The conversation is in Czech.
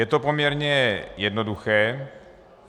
Je to poměrně jednoduché.